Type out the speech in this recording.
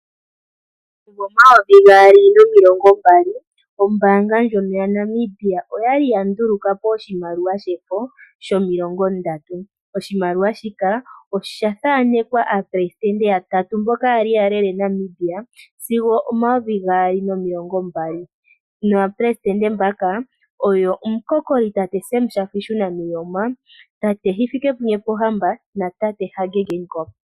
Omumvo 2020 ombaanga ndjono yaNamibia oyali ya ndulukapo oshimaliwa shefo sho30. Oshimaliwa shika oshathanekwa aaleli yoshilongo yatatu mboka yali ya lele Namibia sigo 2020, naaleli mbaka oyo omukokoli tate Sem Shafishuna Nuuyoma, tate Hifikepunye Pohamba na tate Hage Geigob.